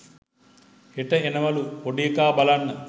හෙට එනවලු පොඩි එකා බලන්න.